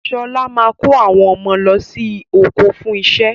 Sọlá máa kó àwọn ọmọ lọ sí oko fún iṣẹ́.